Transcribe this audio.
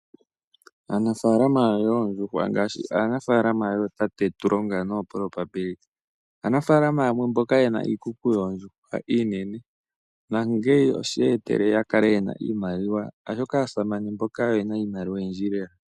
Aanafalama yoondjuhwa ngaashi aanafalama yootate Tulonga nooProbability , aanafalama yamwe mboka yena iikuku yoondjuhwa iinene, nonkene osheya etela yakale yena iimaliwa , oshoka aasamane mboka oyena iimaliwa oyindji leela.